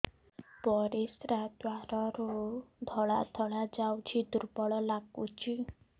ପରିଶ୍ରା ଦ୍ୱାର ରୁ ଧଳା ଧଳା ଯାଉଚି ଦୁର୍ବଳ ଲାଗୁଚି